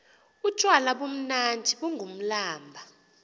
utywala bumnandi bungumblaba